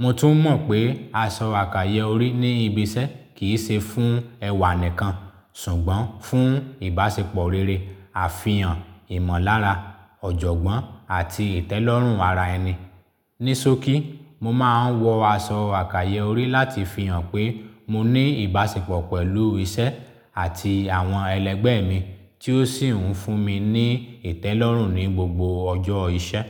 Mo tún mọ̀ pé aṣọ àkàyè orí ní ibiṣẹ́ kì í ṣe fún ẹwà nìkan ṣùgbọ́n fún ìbáṣepọ̀ rere, àfihàn ìmọ̀lára, ọ̀jọ̀gbọ́n àti ìtẹ́lọ́rùn ara ẹni. Ní sókí, mo máa ń wọ aṣọ àkàyọrí láti fi hàn pé mo ní ìbáṣepọ̀ pẹ̀lú iṣẹ́ àti àwọn ẹlẹgbẹ́ mi tí ó sì ń fún mi ní ìtẹ́lọ́rùn ní gbogbo ọjọ́ iṣẹ́.